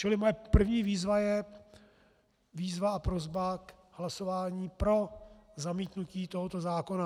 Čili moje první výzva je výzva a prosba k hlasování pro zamítnutí tohoto zákona.